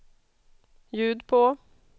ljud på